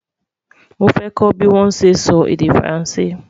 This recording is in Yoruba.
mọ fẹ kò bí wón sé sọ èdè faransé